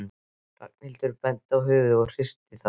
Ragnhildur benti á höfuðið og hristi það.